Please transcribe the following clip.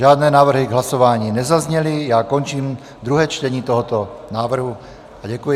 Žádné návrhy k hlasování nezazněly, já končím druhé čtení tohoto návrhu a děkuji.